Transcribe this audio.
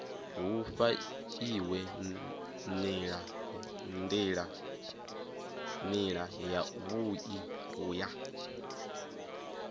hu fhaiwe nila yavhui ya